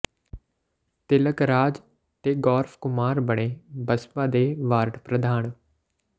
ਤਿਲਕ ਰਾਜ ਤੇ ਗੌਰਵ ਕੁਮਾਰ ਬਣੇ ਬਸਪਾ ਦੇ ਵਾਰਡ ਪ੍ਰਧਾਨ